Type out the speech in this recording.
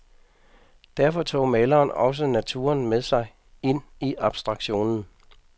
Derfor tog maleren også naturen med sig ind i abstraktionen.